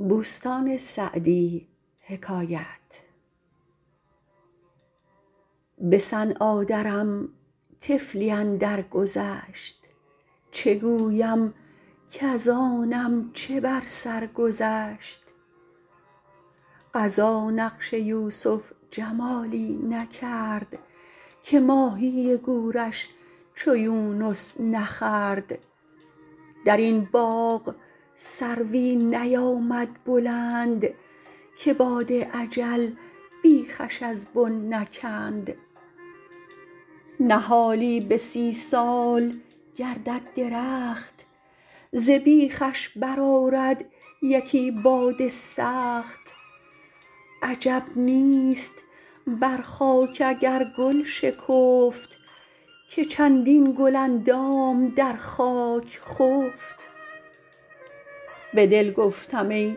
به صنعا درم طفلی اندر گذشت چه گویم کز آنم چه بر سر گذشت قضا نقش یوسف جمالی نکرد که ماهی گورش چو یونس نخورد در این باغ سروی نیامد بلند که باد اجل بیخش از بن نکند نهالی به سی سال گردد درخت ز بیخش بر آرد یکی باد سخت عجب نیست بر خاک اگر گل شکفت که چندین گل اندام در خاک خفت به دل گفتم ای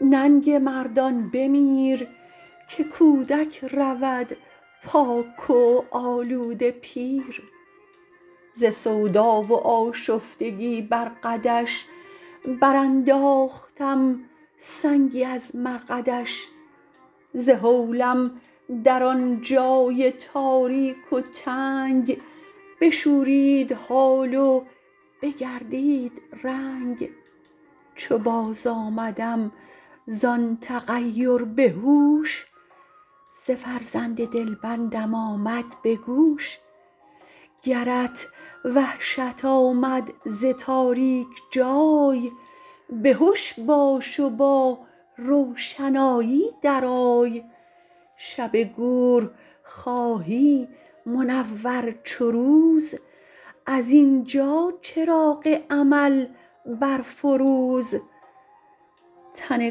ننگ مردان بمیر که کودک رود پاک و آلوده پیر ز سودا و آشفتگی بر قدش برانداختم سنگی از مرقدش ز هولم در آن جای تاریک و تنگ بشورید حال و بگردید رنگ چو باز آمدم زآن تغیر به هوش ز فرزند دلبندم آمد به گوش گرت وحشت آمد ز تاریک جای به هش باش و با روشنایی در آی شب گور خواهی منور چو روز از اینجا چراغ عمل برفروز تن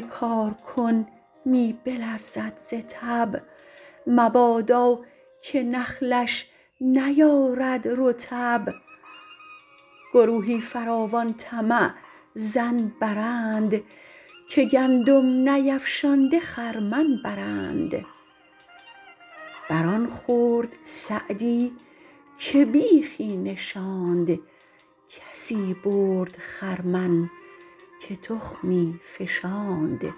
کارکن می بلرزد ز تب مبادا که نخلش نیارد رطب گروهی فراوان طمع ظن برند که گندم نیفشانده خرمن برند بر آن خورد سعدی که بیخی نشاند کسی برد خرمن که تخمی فشاند